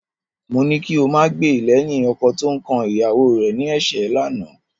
Mo ní kí o máa gbè lẹ́yìn ọkọ tó ń kan ìyàwó rẹ ní ẹ̀ṣẹ́ lánàá